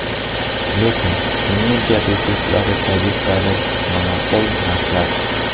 Lekin energiya resurslari tariflari monopol narxlar.